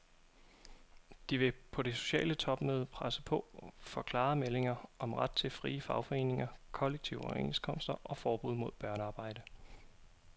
De vil på det sociale topmøde presse på for klare meldinger om ret til frie fagforeninger, kollektive overenskomster og forbud mod børnearbejde.